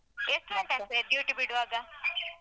ಎಷ್ಟು ಗಂಟೆ ಆಗ್ತದೆ duty ಬಿಡುವಾಗ?